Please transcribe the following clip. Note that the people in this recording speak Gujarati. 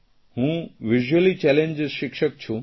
હું વિઝ્યુઅલી ચેલેન્જ્ડ શિક્ષક છું